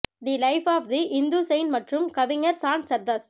the life of the Hindu saint மற்றும் கவிஞர் சாண்ட் சர்தஸ்